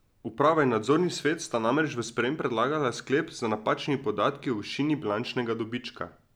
Uprava in nadzorni svet sta namreč v sprejem predlagala sklep z napačnimi podatki o višini bilančnega dobička.